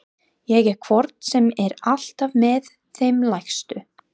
Ég er hvort sem er alltaf með þeim lægstu.